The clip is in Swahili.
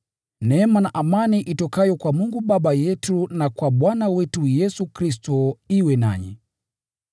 Neema na amani itokayo kwa Mungu Baba yetu na kwa Bwana wetu Yesu Kristo iwe nanyi.